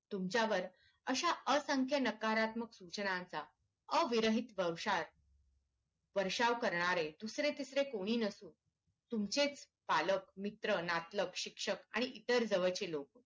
तुमच्यावर अश्या असंख्या नकारत्मक सूचनांचा अविरहित वषार वर्षाव करणारे दुसरे तिसरे कोणी नसून तुमचेच पालक मित्र नातलग शिक्षक आणि इतर जवळचे लोक